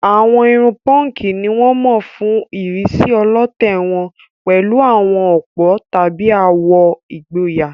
Àwọn irun púnkì ni wọ́n mọ̀ fún ìrísí ọlọ̀tẹ̀ wọn pẹ̀lú àwọn òpó tàbí àwọ̀ ìgboyà.